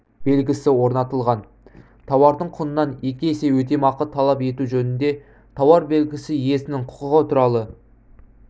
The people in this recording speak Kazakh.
белгісі орнатылған тауардың құнынан екі есе өтемақы талап ету жөнінде тауар белгісі иесінің құқығы туралы